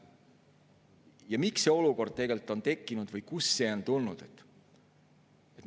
Ja miks see olukord tegelikult on tekkinud või kust see on tulnud?